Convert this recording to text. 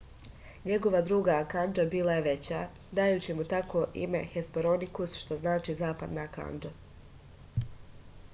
njegova druga kandža bila je veća dajući mu tako ime hesperonikus što znači zapadna kandža